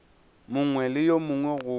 mongwe le wo mongwe go